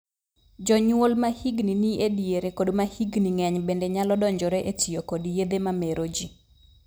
Jonyuol ma hikgi ni e diere kod ma hikgi ng'eny bende nyalo donjore e tiyo kod yedhe ma mero jii.